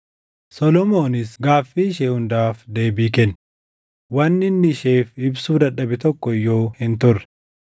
Solomoonis gaaffii ishee hundaaf deebii kenne; wanni inni isheef ibsuu dadhabe tokko iyyuu hin turre.